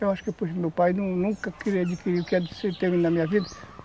Eu acho que